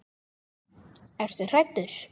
Ertu hræddur?